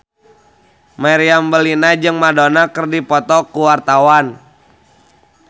Meriam Bellina jeung Madonna keur dipoto ku wartawan